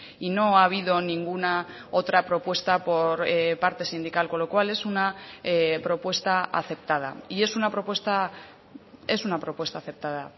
y no ha habido ninguna otra propuesta por parte sindical con lo cual es una propuesta aceptada y es una propuesta es una propuesta aceptada